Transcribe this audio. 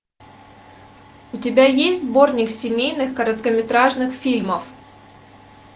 у тебя есть сборник семейных короткометражных фильмов